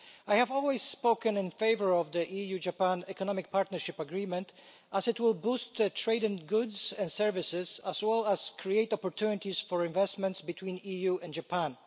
I have always spoken in favour of the EU Japan Economic Partnership Agreement as it will boost trade in goods and services as well as create opportunities for investments between the EU and Japan.